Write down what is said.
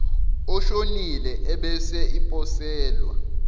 oshonile ebese iposelwa